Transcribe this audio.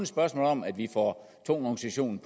spørgsmål om at vi får tungvognssektionen